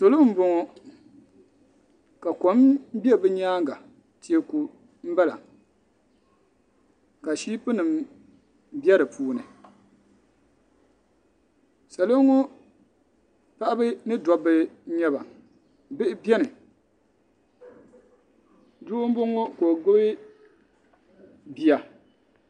Salo n bɔŋɔ ka kom bɛ bi yɛanga tɛɛku n bala ka shipu nima bɛ di puuni salo ŋɔ paɣaba ni dabba nyɛ ba bihi bɛni doo n bɔŋɔ ka o gbubi bia.